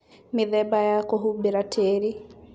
Mĩthemba ya kũhumbĩra tĩri